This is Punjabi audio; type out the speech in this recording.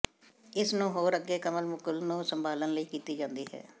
ਇਸ ਨੂੰ ਹੋਰ ਅੱਗੇ ਕਮਲ ਮੁਕੁਲ ਨੂੰ ਸੰਭਾਲਣ ਲਈ ਕੀਤੀ ਜਾਦੀ ਹੈ